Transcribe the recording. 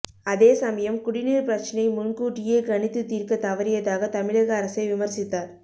அதே சமயம் குடிநீர் பிரச்சனை முன்கூட்டியே கணித்து தீர்க்க தவறியதாக தமிழக அரசை விமர்சித்தார்